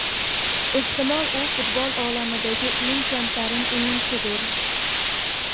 Ehtimol, u futbol olamidagi eng kamtarin o‘yinchidir.